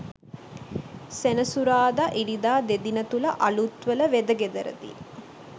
සෙනසුරාදා ඉරිදා දෙදින තුළ අලුත්වල වෙදගෙදරදී